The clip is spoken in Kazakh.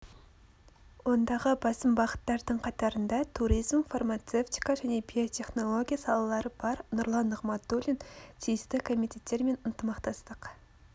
ондағы басым бағыттардың қатарында туризм фармацевтика және биотехнология салалары бар нұрлан нығматулин тиісті комитеттер мен ынтымақтастық